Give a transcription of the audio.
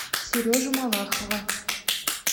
сережу малахова